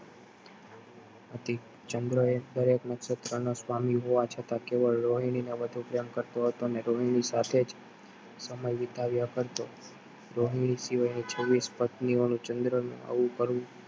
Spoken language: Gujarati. હતી ચંદ્ર એ દરેક નક્ષત્ર નો સ્વામી હોવા છતાં તેઓ રોહિણી ને વધુ પ્રેમ કરતો હતો અને રોહિણી સાથેજ સમય વિતાવ્યા કરતો રોહિણી સિવાય છવીસ પત્ની સાથે ચંદ્ર ને આવું કરવું